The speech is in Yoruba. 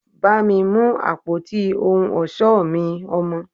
bá mi mú àpótí ohun ọ̀ṣọ́ mi, Ọmọ